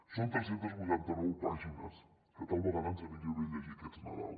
són tres cents i vuitanta nou pàgines que tal vegada ens aniria bé llegir aquest nadal